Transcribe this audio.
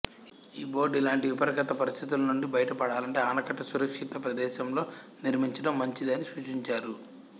ఈ బోర్డ్ ఇలాంటి విపత్కర పరిస్థితుల నుండి బయట పడాలంటే ఆనకట్ట సురక్షిత ప్రదేశంలో నిర్మించడం మంచిది అని సూచించారు